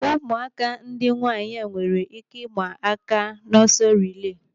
Ụmụaka ndị nwaanyị a nwere ike ịma aka n'ọsọ rilee.